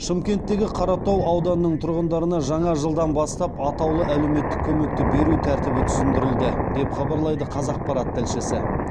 шымкенттегі қаратау ауданының тұрғындарына жаңа жылдан бастап атаулы әлеуметтік көмекті беру тәртібі түсіндірілді деп хабарлайды қазақпарат тілшісі